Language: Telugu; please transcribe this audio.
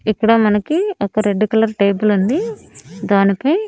ఇక్కడ మనకి ఒక రెడ్ కలర్ టేబుల్ ఉంది దానిపై--